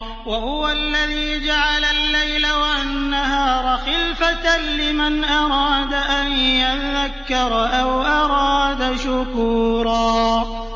وَهُوَ الَّذِي جَعَلَ اللَّيْلَ وَالنَّهَارَ خِلْفَةً لِّمَنْ أَرَادَ أَن يَذَّكَّرَ أَوْ أَرَادَ شُكُورًا